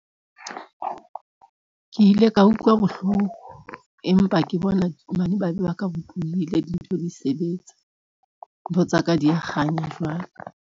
Ke ile ka utlwa bohloko empa ke bona dintho di sebetsa, ntho tsa ka, di ya kganya jwale.